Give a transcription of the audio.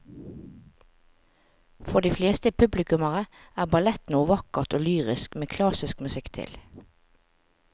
For de fleste publikummere er ballett noe vakkert og lyrisk med klassisk musikk til.